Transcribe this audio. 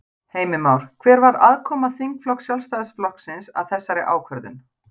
Heimir Már: Hver var aðkoma þingflokks Sjálfstæðisflokksins að þessari ákvörðun?